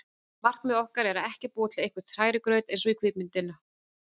Markmið okkar er ekki að búa til einhvern hrærigraut eins og kvikmyndina